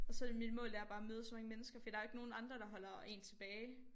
Og så det mit mål det er bare at møde så mange mennesker fordi der er jo ikke nogen andre der holder én tilbage